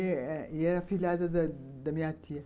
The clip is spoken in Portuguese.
E era filhada da da da minha tia.